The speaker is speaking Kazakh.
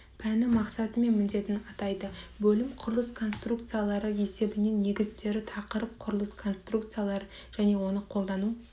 пәні мақсаты мен міндетін атайды бөлім құрылыс конструкциялары есебінің негіздері тақырып құрылыс конструкциялары және оның қолдану